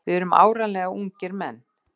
Við erum áreiðanlegir ungir menn.